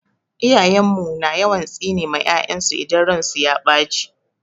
Iyayen mu na yawan tsine ma 'ya'yansu idan ransu ya ɓace.